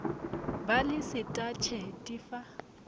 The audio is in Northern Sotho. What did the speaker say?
ba le setatšhe di fa